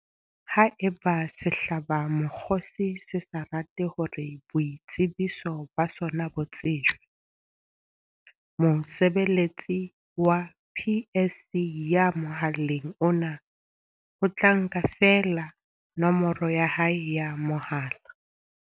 Haeba sehlabamokgosi se sa rate hore boitsebiso ba sona bo tsejwe, mosebeletsi wa PSC ya mohaleng ona o tla nka feela nomoro ya hae ya mohala.